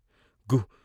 " గు.....